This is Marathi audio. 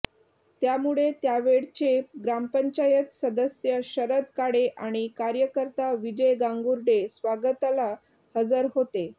त्यामुळे त्यावेळचे ग्रामपंचायत सदस्य शरद काळे आणि कार्यकर्ता विजय गांगुर्डे स्वागताला हजर होते